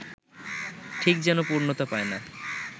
ঠিক যেন পূর্ণতা পায় না